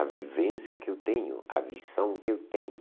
A vivência que eu tenho, a visão que eu tenho.